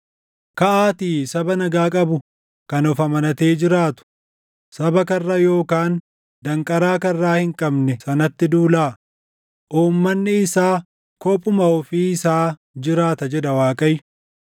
“Kaʼaatii saba nagaa qabu kan of amanatee jiraatu saba karra yookaan danqaraa karraa hin qabne sanatti duulaa; uummanni isaa kophuma ofii isaa jiraata” jedha Waaqayyo.